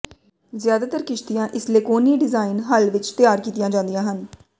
ਜ਼ਿਆਦਾਤਰ ਕਿਸ਼ਤੀਆਂ ਇਸ ਲੇਕੋਨੀ ਡਿਜ਼ਾਇਨ ਹੱਲ ਵਿੱਚ ਤਿਆਰ ਕੀਤੀਆਂ ਜਾਂਦੀਆਂ ਹਨ